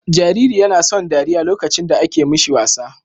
Jariri YAna son dariya lokacin da ake mishi wasa